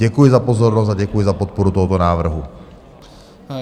Děkuji za pozornost a děkuji za podporu tohoto návrhu.